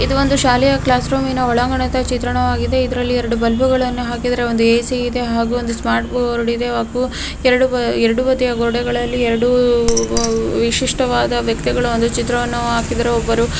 ಇದು ಒಂದು ಶಾಲೆಯ ಕ್ಲಾಸ್ರೂಮಿನ ಒಲಂಗಣದ ಚಿತ್ರಣವಾಗಿದೆ ಇದ್ರಲ್ಲಿ ಎರಡು ಬಲ್ಬ್ಗಳನ್ನು ಹಕಿದ್ದಾರೆ ಒಂದು ಎ.ಸಿ ಇದೆ ಹಾಗೂ ಒಂದು ಸ್ಮಾರ್ಟ್ಬೋರ್ಡ್ ಇದೆ ಹಾಗೂ ಎರಡು ಬಾ ಎರಡು ಬದಿಯ ಗೋಡೆಗಳಲ್ಲಿ ಎರಡು ವಿಶಿಷ್ಟವಾದ ಒಂದು ಚಿತ್ರವನ್ನು ಅಕಿದರೆ. ಒಬ್ಬರು --